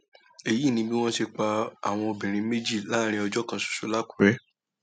èyí ni bí wọn ṣe pa àwọn obìnrin méjì láàrin ọjọ kan ṣoṣo làkúrẹ